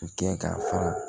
U kɛ ka fara